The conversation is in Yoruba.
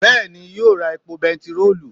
beeni yio ra epo bentiroolu.